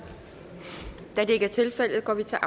da det ikke er tilfældet går vi til